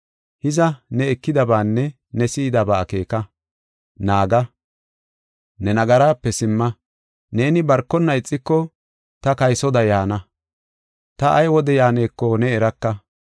Hiza, ne ekidabaanne si7idaba akeeka; naaga; ne nagaraape simma. Neeni barkonna ixiko ta kaysoda yaana; ta ay wode yaaneko ne eraka.